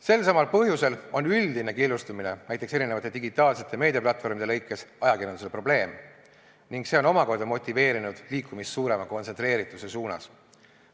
Selsamal põhjusel on üldine killustumine, näiteks eri digitaalsete meediaplatvormide kaupa, ajakirjandusele probleem ning see on omakorda motiveerinud liikumist suurema kontsentreerituse suunas.